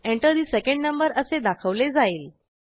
Enter ठे second number असे दाखवले जाईल